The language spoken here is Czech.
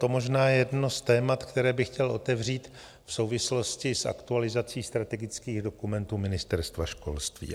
To možná je jedno z témat, které bych chtěl otevřít v souvislosti s aktualizací strategických dokumentů Ministerstva školství.